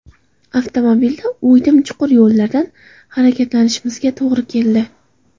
Avtomobilda o‘ydim-chuqur yo‘llardan harakatlanishimizga to‘g‘ri keldi.